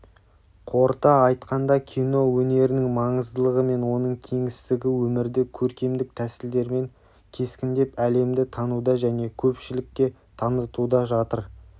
қорыта айтқанда кино өнерінің маңыздылығы мен оның кеңістігі өмірді көркемдік тәсілдермен кескіндеп әлемді тануда және көпшілікке танытуда жатыр